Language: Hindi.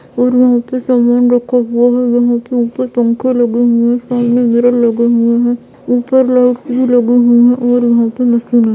और वहाँ पे सामान रखा हुआ है और वहाँ पे ऊपर पंखा लगा हुआ है सामने मिरर लगे हुए है और ऊपर लाइट भी लगी हुई है।